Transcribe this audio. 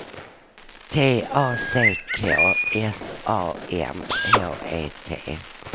T A C K S A M H E T